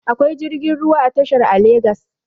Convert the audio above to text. akwai jirgin ruwa a tashar a legas